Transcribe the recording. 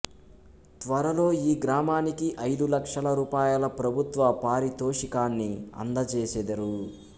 త్వరలో ఈ గ్రామానికి ఐదు లక్షల రూపాయల ప్రభుత్వ పారితోషికాన్ని అందజేసెదరు